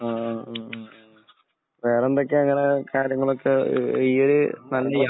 ആ. മ്മ്. മ്മ്. മ്മ്. വേറെന്തൊക്കെയാണ് നിങ്ങടെ കാര്യങ്ങളൊക്കെ. ഈഹ്‌ ഈഹ്